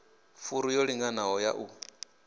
furu yo linganaho ya u